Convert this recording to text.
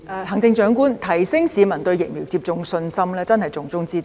行政長官，提升市民對疫苗接種的信心，真是重中之重。